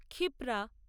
Kshipra